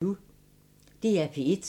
DR P1